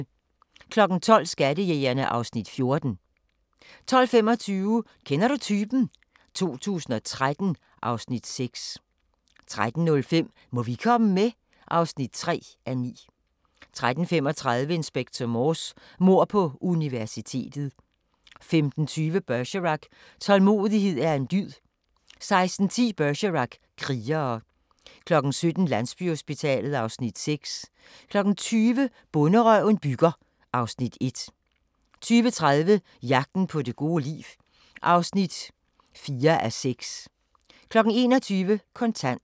12:00: Skattejægerne (Afs. 14) 12:25: Kender du typen? 2013 (Afs. 6) 13:05: Må vi komme med? (3:9) 13:35: Inspector Morse: Mord på universitetet 15:20: Bergerac: Tålmodighed er en dyd 16:10: Bergerac: Krigere 17:00: Landsbyhospitalet (Afs. 6) 20:00: Bonderøven bygger (Afs. 1) 20:30: Jagten på det gode liv (4:6) 21:00: Kontant